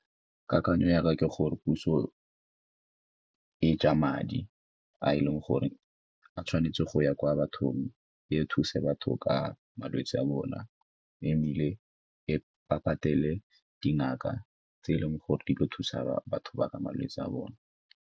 Kakanyao ya ka ke gore, puso e ja madi a e leng gore a tshwanetse go ya kwa bathong e thuse batho ka malwetse a bona, ebile ba patele dingaka tse e leng gore di ile go thusa batho ba ka malwetse a bone.